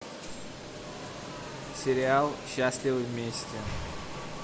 сериал счастливы вместе